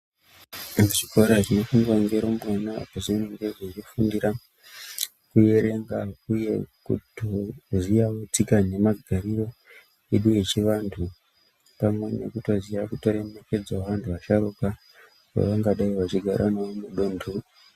Muzvikora zvinoendwa nerumbwana inoita zvekufundira kuerenga uye kutoziva tsika nemagariro yedu yechivantu vanenge vachitoziva zvemasharukwa pavangadai vachigara mudundu.